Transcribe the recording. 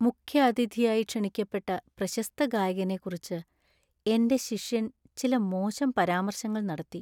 മുഖ്യാതിഥിയായി ക്ഷണിക്കപ്പെട്ട പ്രശസ്ത ഗായകനെ കുറിച്ച് എന്‍റെ ശിഷ്യൻ ചില മോശം പരാമർശങ്ങൾ നടത്തി.